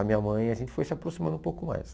A minha mãe, a gente foi se aproximando um pouco mais.